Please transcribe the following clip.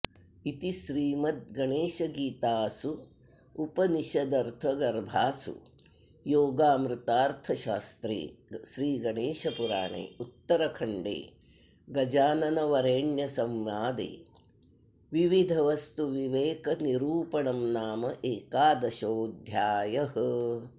इति श्रीमद्गणेशगीतासूपनिषदर्थगर्भासु योगामृतार्थशास्त्रे श्रीगणेशपुराणे उत्तरखण्डे गजाननवरेण्यसंवादे त्रिविधवस्तुविवेकनिरूपणं नाम एकादशोऽध्यायः